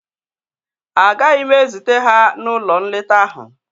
Agaghị m ezute ha n'ụlọ nleta ahụ